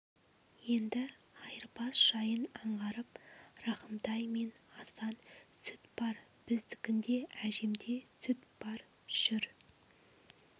енді айырбас жайын аңғарып рахымтай мен асан сүт бар біздікінде әжемде сүт бар жүр